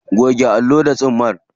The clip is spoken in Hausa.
Goge allon da tsumma.